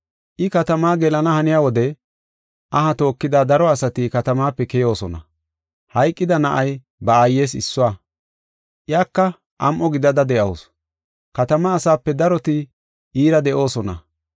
I katamaa gelana haniya wode aha tookida daro asati katamaape keyoosona. Hayqida na7ay ba aayes issuwa, iyaka am7o gidada de7awusu. Katama asaape daroti iira de7oosona.